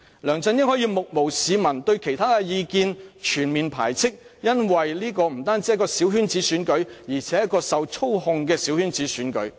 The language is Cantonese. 梁振英可以目無市民，對異見全面排斥，因為這不單是一個小圈子選舉，而且是一個受操控的小圈子選舉。